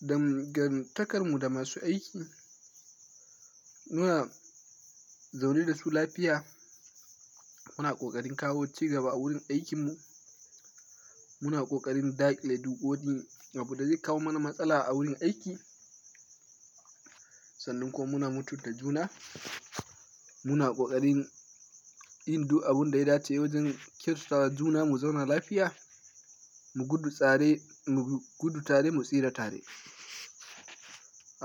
Dangantakarmu da masu aiki, muna zaune da su lafiya. Muna ƙoƙarin kawo cigaba a wurin aikinmu. Muna ƙoƙarin dakile duk wani abu da zai kawo mana matsala a wurin aiki, sannan ko muna mutunta juna. Muna ƙoƙarin yin duk abin da ya dace wajen kiyaye tsaron junan mu mu zauna lafiya, mu gudu tare mu tsira tare.